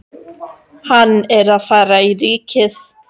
Hann er að fara í Ríkið!